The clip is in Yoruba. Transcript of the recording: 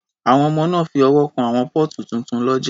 Àwọn ọmọ náà fi ọwọ́ kan àwọn póòtù tuntun lọ́jà